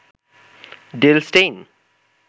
Dale Steyn